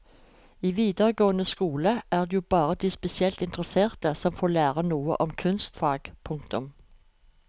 I videregående skole er det jo bare de spesielt interesserte som får lære noe om kunstfag. punktum